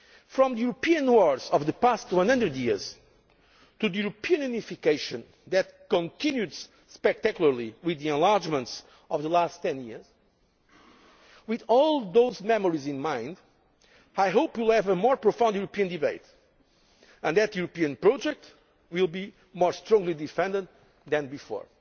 to. From the European wars of the past 100 years to a European unification that has continued spectacularly with the enlargements of the last ten years, with all those memories in mind, I hope we will have a more profound European debate and that the European project will be more strongly defended than